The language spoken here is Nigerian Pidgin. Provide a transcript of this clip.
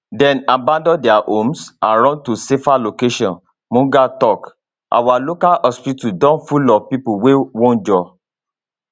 dem abandon dia homes and run to safer locations mughal tok our local hospital don full of pipo wey wunjure